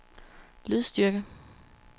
lydstyrke